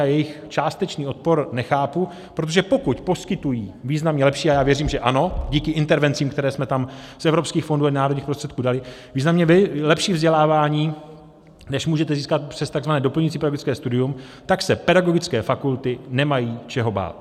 A jejich částečný odpor nechápu, protože pokud poskytují významně lepší - a já věřím, že ano díky intervencím, které jsme tam z evropských fondů i národních prostředků dali - významně lepší vzdělávání, než můžete získat přes tzv. doplňující pedagogické studium, tak se pedagogické fakulty nemají čeho bát.